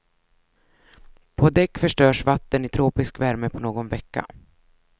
På däck förstörs vatten i tropisk värme på någon vecka.